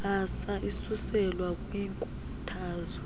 mbasa isuselwa kwinkuthazo